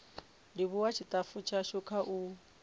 livhuwa tshitafu tshashu kha u